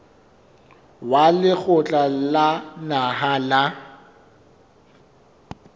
wa lekgotla la naha la